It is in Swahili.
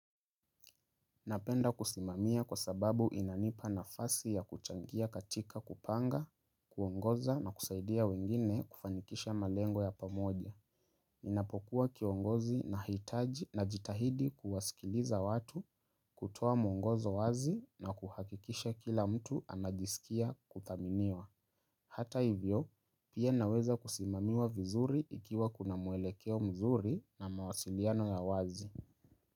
Napenda kusimamia kwa sababu inanipa nafasi ya kuchangia katika kupanga, kuongoza na kusaidia wengine kufanikisha malengo ya pamoja. Ninapokuwa kiongozi nahitaji najitahidi kuwasikiliza watu kutoa mwongozo wazi na kuhakikisha kila mtu anajisikia kuthaminiwa. Hata hivyo, pia naweza kusimamiwa vizuri ikiwa kuna muelekeo mzuri na mawasiliano ya wazi.